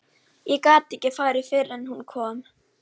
Ég gat ekki farið fyrr en hún kom.